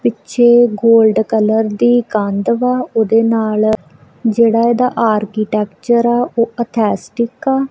ਪਿੱਛੇ gold colour ਦੀ ਕੰਧ ਵਾ ਉਹਦੇ ਨਾਲ ਜਿਹੜਾ ਇਹਦਾ ਆਰਕੀਟੈਕਚਰ ਆ ਉਹ ਅਥੈਸਟਿਕ ਆ।